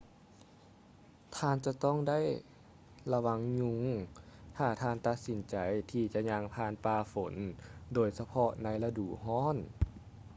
ທ່ານຈະຕ້ອງໄດ້ລະວັງຍຸງ ຖ້າທ່ານຕັດສິນໃຈທີ່ຈະຍ່າງຜ່ານປ່າຝົນ ໂດຍສະເພາະໃນລະດູຮ້ອນ